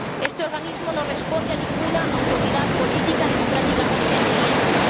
Este organismo no responde a ninguna autoridad política democráticamente electa.